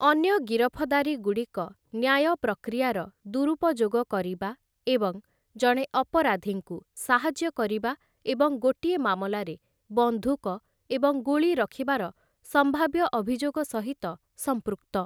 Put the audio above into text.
ଅନ୍ୟ ଗିରଫଦାରୀଗୁଡ଼ିକ ନ୍ୟାୟ ପ୍ରକ୍ରିୟାର ଦୁରୁପଯୋଗ କରିବା ଏବଂ ଜଣେ ଅପରାଧୀଙ୍କୁ ସାହାଯ୍ୟ କରିବା ଏବଂ ଗୋଟିଏ ମାମଲାରେ ବନ୍ଧୁକ ଏବଂ ଗୁଳି ରଖିବାର ସମ୍ଭାବ୍ୟ ଅଭିଯୋଗ ସହିତ ସମ୍ପୃକ୍ତ ।